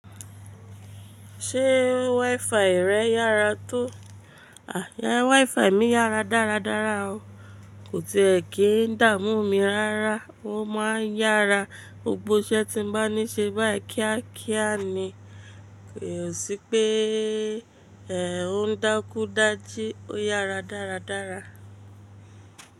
Ṣé WiFi rẹ yára tó? À WiFi mi yára dáradára o. Kò tíì è kí ń dààmú mi rárá. Ó ma ń yára. Gbọ́ isẹ tí mo bá ní ṣe báìí kíákíá ni. Kò sí pé ẹ̀ ò ń dákúdáji, ó yára dáradára.